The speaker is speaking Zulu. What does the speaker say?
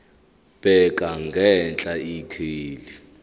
bheka ngenhla ikheli